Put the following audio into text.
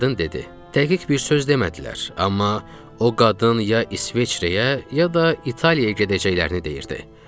Qadın dedi: Təqiq bir söz demədilər, amma o qadın ya İsveçrəyə, ya da İtaliyaya gedəcəklərini deyirdi.